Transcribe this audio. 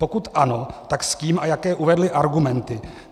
Pokud ano, tak s kým a jaké uvedli argumenty?